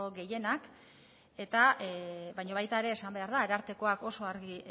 gehienak eta baina baita ere esan behar da arartekoak oso argi